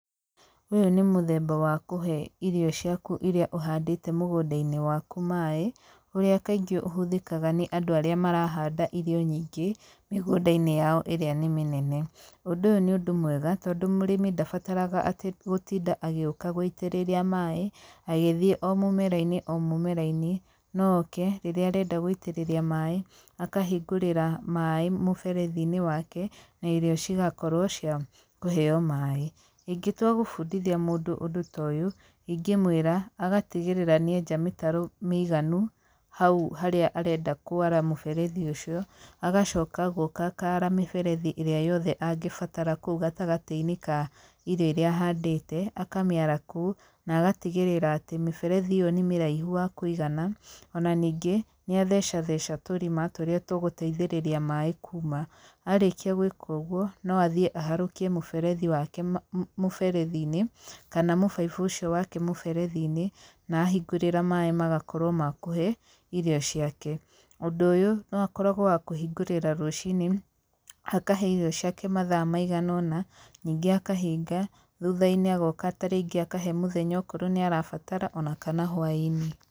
Ũyũ nĩ mũthemba wa kũhe irio ciaku iria ũhandĩte mũgũnda-inĩ waku maĩ, ũrĩa kaingĩ ũhũthĩkaga nĩ andũ arĩa marahanda irio nyingĩ mĩgũnda-inĩ yao ĩrĩa nĩ mĩnene. Ũndũ ũyũ nĩ ũndũ mwega, tondũ mũrĩmi ndabataraga atĩ gũtinda agĩũka gũĩtĩrĩria maĩ agĩthiĩ o mũmera-inĩ o mũmera-inĩ, no oke rĩrĩa arenda gũitĩrĩria maĩ akahingũrĩa maĩ mũberethi-inĩ wake, na irio cigakorwo cia kũheyo maĩ. Ĩngĩtua gũbũndithia mũndũ ũndũ ta ũyũ, ingĩmwĩra agatigĩrĩra nĩ enja mĩtaro mĩiganu hau harĩa arenda kwara mũberethi ũcio. Agacoka agoka akara mĩberethi ĩrĩa angĩenda kwara kũu gatagatĩ-inĩ ka irio iria ahandĩte, akamĩara kũu na agatigĩrĩra atĩ mĩberethi ĩyo nĩ mĩraihu wa kũigana, ona nĩngĩ nĩathecatheca tũrima tũrĩa tũgũteithĩrĩria maĩ kuuma. Arĩkia gũĩka ũguo, no athiĩ aharũkie mũberethi wake mũberethi-inĩ, kana mũbaibũ ũcio wake mũberethi-inĩ, na ahingũrĩra maĩ magakorwo makũhe irio ciake. Ũndũ ũyũ noakoragwo wa kũhingũrĩra rũciinĩ akahe irio ciake mathaa maiganaona, nĩngĩ akahinga thũtha-inĩ agoka tarĩngĩ akahe mũthenya okorwo nĩ arabatara, ona kana hwainĩ.